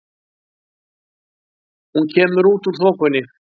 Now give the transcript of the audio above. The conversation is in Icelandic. Hún kemur út úr þokunni.